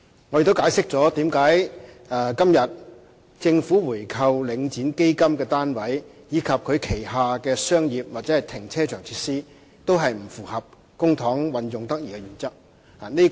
我亦解釋了為何今天政府購回領展基金單位，以及它旗下的商業或停車場設施，皆不符合公帑運用得宜的原則。